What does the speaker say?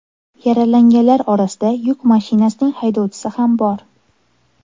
Yaralanganlar orasida yuk mashinasining haydovchisi ham bor.